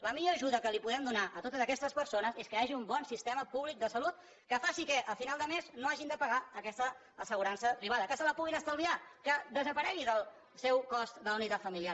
la millor ajuda que podem donar a totes aquestes persones és que hi hagi un bon sistema públic de salut que faci que a final de mes no hagin de pagar aquesta assegurança privada que se la puguin estalviar que desaparegui del seu cost de la unitat familiar